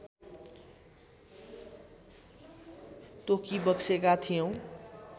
तोकिबक्सेका थियौँ